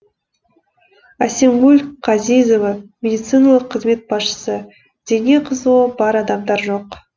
әсемгүл қазизова медициналық қызмет басшысы дене қызуы бар адамдар жоқ